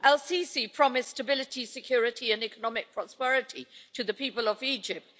El Sisi promised stability, security and economic prosperity to the people of Egypt.